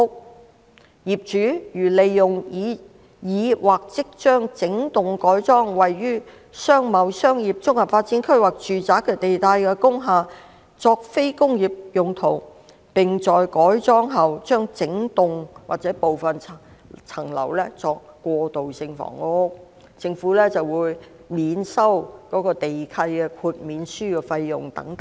具體來說，業主如利用已經或即將整幢改裝位於'商貿'、'商業'、'綜合發展區'及'住宅'地帶的工廈作非工業用途，並在改裝後將整幢或部分樓層用作過渡性房屋，政府會......免收......地契豁免書費用"等。